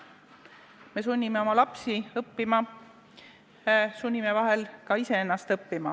Me sunnime oma lapsi õppima, sunnime vahel ka iseennast õppima.